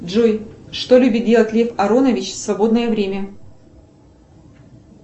джой что любит делать лев аронович в свободное время